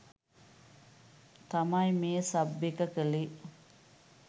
තමයි මේ සබ් එක කළේ.